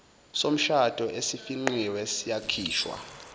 somshado esifingqiwe siyakhishwa